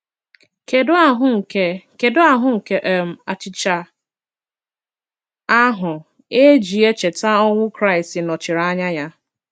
Kedụ ahụ́ nke Kedụ ahụ́ nke um achịcha ahụ e ji echeta ọnwụ Kraịst nọchiri anya ya?